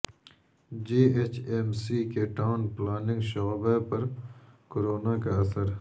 جی H M C کے town planning شعبہ پر کورونا کا اثر